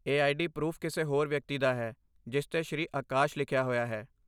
ਇਹ ID proof ਕਿਸੇ ਹੋਰ ਵਿਅਕਤੀ ਦਾ ਹੈ, ਜਿਸ 'ਤੇ ਸ੍ਰੀ ਆਕਾਸ਼ ਲਿਖਿਆ ਹੋਇਆ ਹੈ।